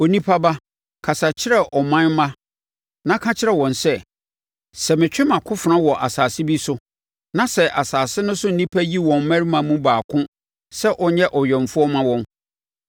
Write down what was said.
“Onipa ba, kasa kyerɛ wo ɔman mma na ka kyerɛ wɔn sɛ: ‘Sɛ metwe mʼakofena wɔ asase bi so, na sɛ asase no so nnipa yi wɔn mmarima no mu baako sɛ ɔnyɛ ɔwɛmfoɔ mma wɔn,